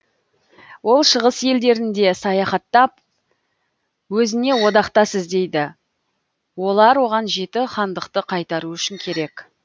ол шығыс елдерінде саяхаттап өзіне одақтас іздейді олар оған жеті хандықты қайтару үшін керек